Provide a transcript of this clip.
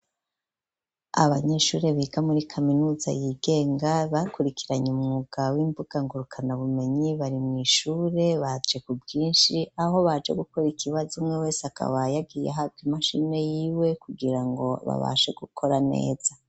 Abanyeshuri biga muri kaminuza y'igenga bakurikiranye umwugabo w'imbuga ngurukana bumenyi bari mw'ishure baje ku bwishi aho baje gukora ikibazo umwe wese akaba yagiye ahabwa imashini yiwe kugirango babashe gukora neza.